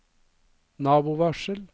nabovarsel